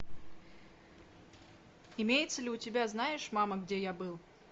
имеется ли у тебя знаешь мама где я был